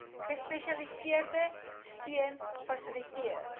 gespesialiseerde steun fasiliteer